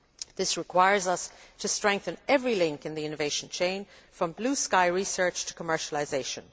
This requires us to strengthen every link in the innovation chain, from blue sky research to commercialisation.